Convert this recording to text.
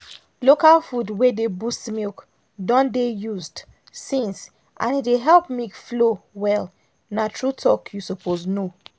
local food wey dey boost milk don dey used since and e dey help milk flow well na true talk you suppose know